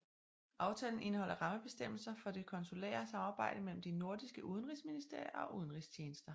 Aftalen indeholder rammebestemmelser for det konsulære samarbejdede mellem de nordiske udenrigsministerier og udenrigstjenester